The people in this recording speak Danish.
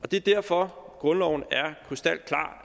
det er derfor grundloven er krystalklar